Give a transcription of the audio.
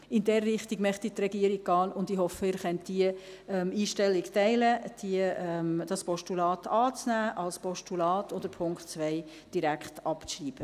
In diese Richtung möchte die Regierung gehen, und ich hoffe, Sie können die Einstellung teilen, dieses Postulat anzunehmen – als Postulat –und den Punkt 2 direkt abzuschreiben.